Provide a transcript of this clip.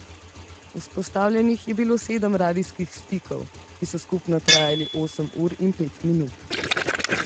Vzpostavljenih je bilo sedem radijskih stikov, ki so skupno trajali osem ur in pet minut.